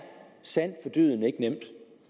sandt for dyden ikke nemt